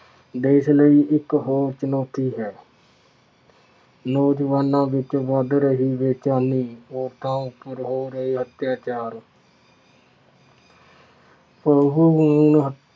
ਦੇਸ ਲਈ ਇੱਕ ਹੋਰ ਚੁਣੌਤੀ ਹੈ। ਨੌਜੁਵਾਨਾਂ ਵਿੱਚ ਵੱਧ ਰਹੀ ਬੇਚੈਨੀ ਲੋਕਾਂ ਉੱਪਰ ਹੋ ਰਹੇ ਅੱਤਿਆਚਾਰ ਭਰੂਣ ਹੱ